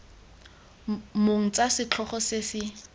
mong tsa setlhogo se se